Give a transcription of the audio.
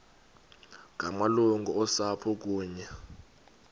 ngamalungu osapho kunye